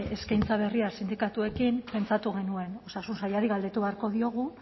eskaintza berria sindikatuekin pentsatu genuen osasun sailari galdetu beharko diogu